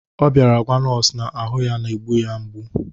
Ọ bịara gwa nọọsụ na ahụ ya na-egbu ya mgbu